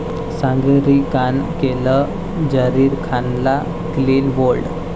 सागरिकानं केलं झहीर खानला clean bold